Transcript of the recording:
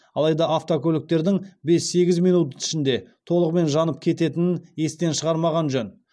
алайда автокөліктердің бес сегіз минут ішінде толығымен жанып кететінін естен шығармаған жөн